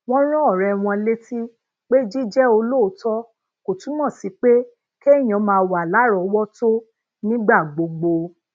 wón rán òré wọn létí pé jíjé olóòótó kò túmò sí pé keyan máa wà láròówótó nígbà gbogbo